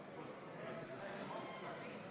Just nimelt selles seisneb ka meie tegu, meie parlamendi tegu.